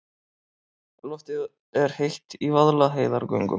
Loftið er heitt í Vaðlaheiðargöngum.